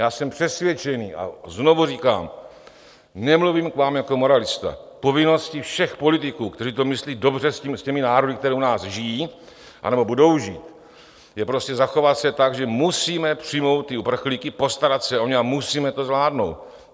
Já jsem přesvědčen, a znovu říkám, nemluvím k vám jako moralista, povinností všech politiků, kteří to myslí dobře s těmi národy, které u nás žijí anebo budou žít, je prostě zachovat se tak, že musíme přijmout ty uprchlíky, postarat se o ně a musíme to zvládnout.